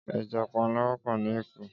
Éjà pànlá wòpò ni Ékó